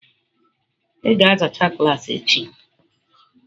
Ị ga-azachaa klaasị echi.